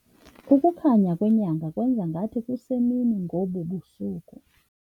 Ukukhanya kwenyanga kwenze ngathi kusemini ngobu busuku.